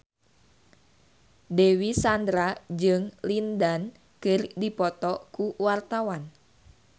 Dewi Sandra jeung Lin Dan keur dipoto ku wartawan